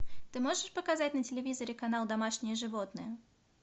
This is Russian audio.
ты можешь показать на телевизоре канал домашние животные